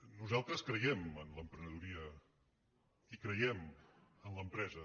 nosaltres creiem en l’emprenedoria i creiem en l’empresa